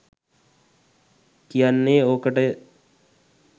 කියන්නේ ඕකට ය.